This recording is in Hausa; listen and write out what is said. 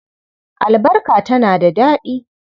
Albarka tana da daɗi.